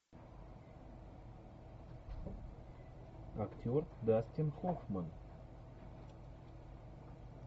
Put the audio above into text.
актер дастин хоффман